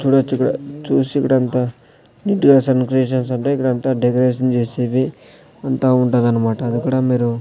చూడొచిక్కడ చూసి ఇక్కడంతా నీటుగా సన్ క్రియేషన్స్ ఉంటాయి ఇక్కడంతా డెకరేషన్ చేసేది అంతా ఉంటాదన్నమాట ఇక్కడా మీరు--